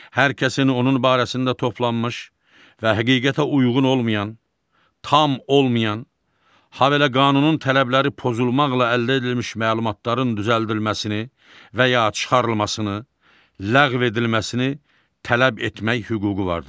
Hər kəsin onun barəsində toplanmış və həqiqətə uyğun olmayan, tam olmayan, habelə qanunun tələbləri pozulmaqla əldə edilmiş məlumatların düzəldilməsini və ya çıxarılmasını, ləğv edilməsini tələb etmək hüququ vardır.